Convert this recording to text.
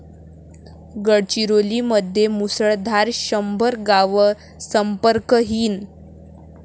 गडचिरोलीमध्ये मुसळधार, शंभर गावं संपर्कहीन